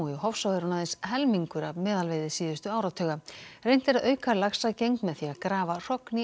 Hofsá er hún aðeins helmingur af meðalveiði síðustu áratuga reynt er að auka laxagengd með því að grafa hrogn í